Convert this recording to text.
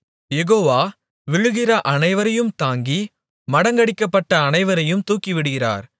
யெகோவா விழுகிற அனைவரையும் தாங்கி மடங்கடிக்கப்பட்ட அனைவரையும் தூக்கிவிடுகிறார்